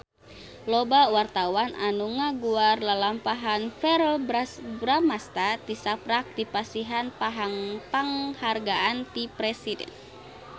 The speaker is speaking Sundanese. Loba wartawan anu ngaguar lalampahan Verrell Bramastra tisaprak dipasihan panghargaan ti Presiden